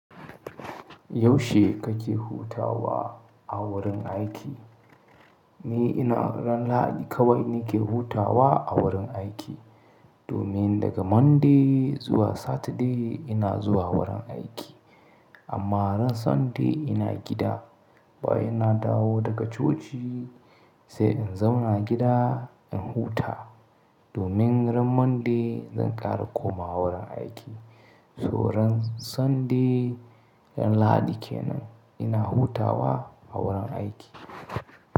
Yaushe kake hutawa a wurin aiki? Ni ina ran Lahadi kawai nake hutawa a wurin aiki. Domin daga Monday zuwa Saturday ina zuwa wurin aiki. Amma ran Sunday ina gida, ba ina dawo daga coci sai in zauna gida in huta, domin ran Monday zan ƙara komawa wurin aiki. So ran Sunday, ran Lahadi kenan ina hutawa a wurin aiki.